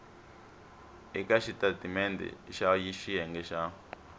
eka xitatimendhe xa xiyenge xa